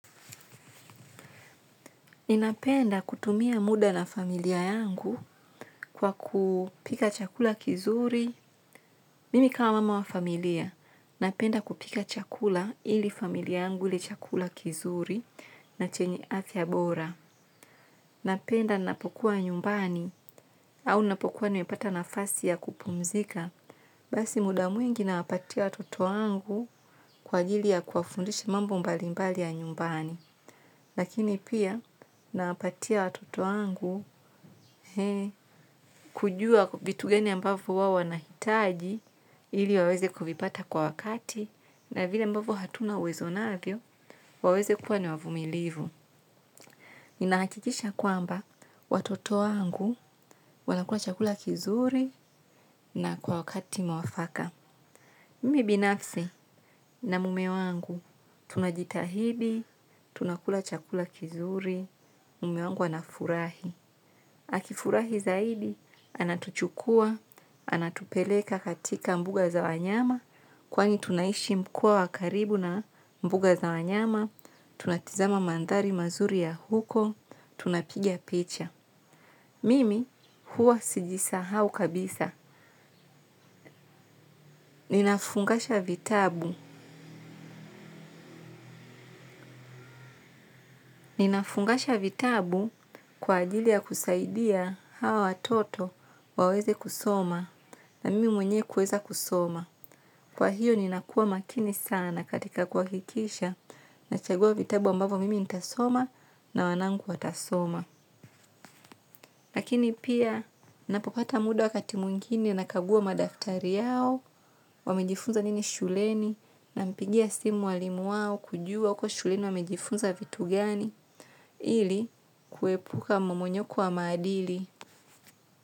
Ninapenda kutumia muda na familia yangu kwa kupika chakula kizuri. Mimi kama mama wa familia, napenda kupika chakula ili familia yangu ile chakula kizuri na chenye afya bora. Napenda napokuwa nyumbani au napokuwa nimepata nafasi ya kupumzika. Basi muda mwingi nawapatia watoto wangu kwa ajili ya kuwafundishi mambo mbalimbali ya nyumbani. Lakini pia nawapatia watoto wangu kujua vitu gani ambavyo wao wanahitaji ili waweze kuvipata kwa wakati na vile ambavyo hatuna uwezo navyo waweze kuwa ni wavumilivu. Ninahakikisha kwamba, watoto wangu wanakula chakula kizuri na kwa wakati mwafaka. Mimi binafsi na mume wangu tunajitahidi, tunakula chakula kizuri, mume wangu anafurahi. Akifurahi zaidi, anatuchukua, anatupeleka katika mbuga za wanyama, kwani tunaishi mkoa wa karibu na mbuga za wanyama. Tunatizama mandhari mazuri ya huko, tunapiga picha. Mimi huwa sijisahau kabisa, ninafungasha vitabu. Ninafungasha vitabu kwa ajili ya kusaidia hawa watoto waweze kusoma na mimi mwenye kuweza kusoma. Kwa hiyo ninakuwa makini sana katika kuhakikisha nachagua vitabu ambavyo mimi nitasoma na wanangu watasoma. Lakini pia napopata muda wakati mwingine nakagua madaftari yao wamejifunza nini shuleni nampigia simu walimu wao kujua huko shuleni wamejifunza vitu gani ili kuepuka mmomonyoko wa maadili.